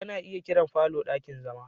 Ana iya kiran falo ɗakin zama.